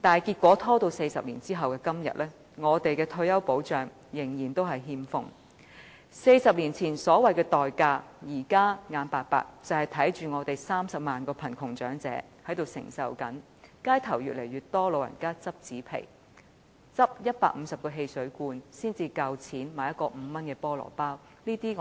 然而 ，40 年後的今天，我們的退休保障仍然欠奉 ；40 年前所謂的"代價"，就是我們現在無奈地看着30萬名貧窮長者受苦，街頭越來越多長者拾紙皮，拾150個汽水罐才能夠買一個5元的菠蘿包。